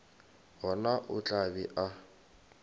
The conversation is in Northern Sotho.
gona o tla be a